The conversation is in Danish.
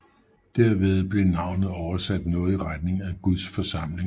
Derved bliver navnet oversat noget i retning af Guds forsamling